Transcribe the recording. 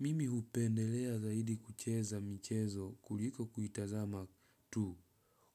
Mimi hupendelea zaidi kucheza michezo kuliko kuitazama tu